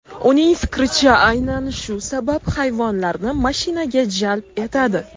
Uning fikricha, aynan shu sabab hayvonlarni mashinaga jalb etadi.